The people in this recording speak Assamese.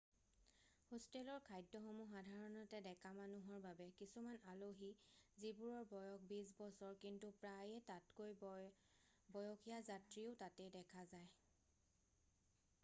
হোষ্টেলৰ খাদ্য সমূহ সাধাৰণতে ডেকা মানুহৰ বাবে কিছুমান আলহী যিবোৰৰ বয়স বিছ বছৰ কিন্তু প্ৰায়ে তাতকৈ বয়সীয়া যাত্ৰীও তাতে দেখা যায়